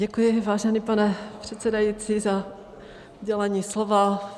Děkuji, vážený pane předsedající, za udělení slova.